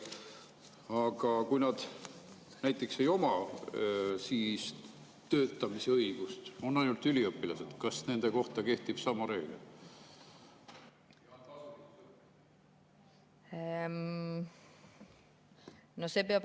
Aga kui nad näiteks ei oma töötamise õigust, on ainult üliõpilased, siis kas nende kohta kehtib sama reegel?